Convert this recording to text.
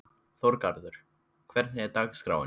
Þorgarður, hvernig er dagskráin?